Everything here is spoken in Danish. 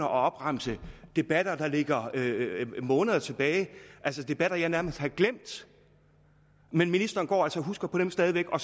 at opremse debatter der ligger måneder tilbage altså debatter jeg nærmest har glemt men ministeren går altså og husker på dem stadig væk og